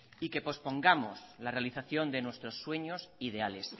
y que pospongamos la realización de nuestros sueños ideales